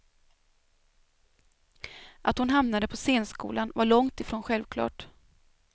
Att hon hamnade på scenskolan var långt ifrån självklart.